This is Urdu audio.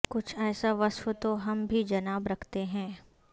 کچھ ایسا وصف تو ہم بھی جناب رکھتے ہیں